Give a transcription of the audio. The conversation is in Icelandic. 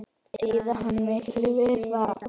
Eyðir hann miklu við það?